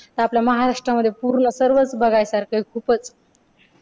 तर आपल्या महाराष्ट्रामध्ये पूर्ण सर्वच बघाय सारख खूपच.